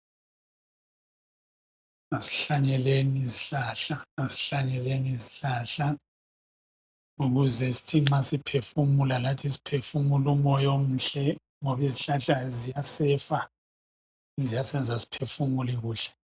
Asihlanyeleni izihlahla asihlanyeleni izihlahla ukuze sithi lathi nxa siphefumula siphefumule umoya omuhle ngoba izihlahla ziyasefa ziyasenza siphefumule kuhle.